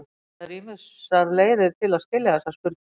Það eru ýmsar leiðir til að skilja þessa spurningu.